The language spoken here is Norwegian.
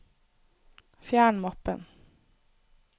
fjern mappen